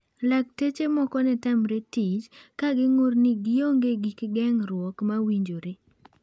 Laktache moko ne tamre tich, ka ging'ur ni gionge gik geng'ruok ma winjore.